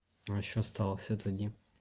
ещё осталось вот один